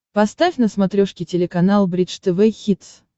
поставь на смотрешке телеканал бридж тв хитс